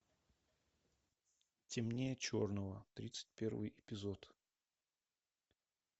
темнее черного тридцать первый эпизод